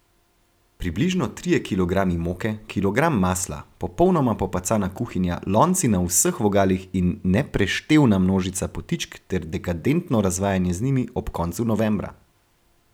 Približno trije kilogrami moke, kilogram masla, popolnoma popacana kuhinja, lonci na vseh vogalih in nepreštevna množica potičk ter dekadentno razvajanje z njimi ob koncu novembra.